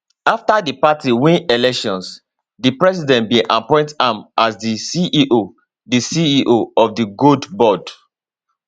afta di party win elections di president bin appoint am as di ceo di ceo of di gold board